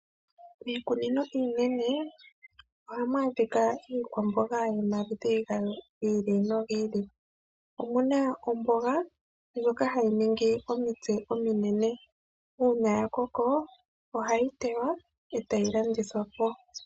Miikununo iinene ohamu adhika iikwamboga yomaludhi giili nogiili. Omuna omboga ndjoka hayi ningi omitse ominene . Uuna yakoko, ohayi tewa etayi landithwapo.